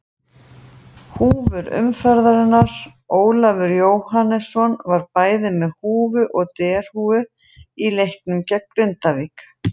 Húfur umferðarinnar: Ólafur Jóhannesson var bæði með húfu og derhúfu í leiknum gegn Grindavík.